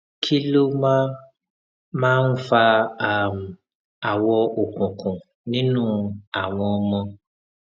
kí ló máa máa ń fa um awọ òkùnkùn nínú àwọn ọmọ